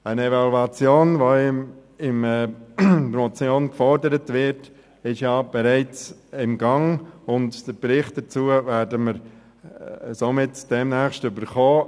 Eine Evaluation, wie sie in der Motion gefordert wird, ist bereits im Gang, und den Bericht hierzu werden wir demnächst erhalten.